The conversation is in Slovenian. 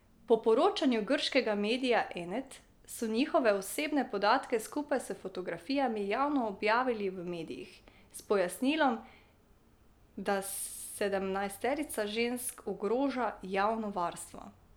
Po poročanju grškega medija Enet so njihove osebne podatke, skupaj s fotografijami, javno objavili v medijih, s pojasnilom, da sedemnajsterica žensk ogroža javno varstvo.